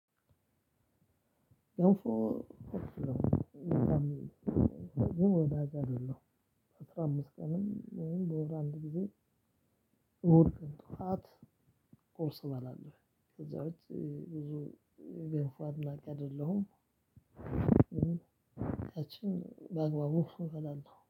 ገንፎ እወስዳለው በሳምንት። ግን ወዳጅ አይደለሁም። አስራ አምስት ቀንም ወይም በወር አንድ ጊዜ እሁድ ቀን ጠዋት ቁርስ እባላለሁ። ከዛ ውጭ ብዙ ገንፎ አድናቂ አይደለሁም። ያቺን በአግባቡ እበላለሁ